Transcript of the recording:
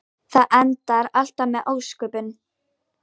Það endar alltaf með ósköpum.